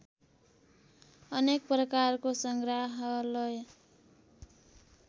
अनेक प्रकारको संग्राहलय